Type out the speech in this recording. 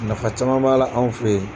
Nafa caman b'a la anw fɛ yen.